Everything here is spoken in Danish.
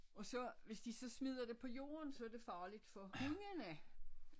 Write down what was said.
Og så hvis de så smider det på jorden så er det farligt for hundene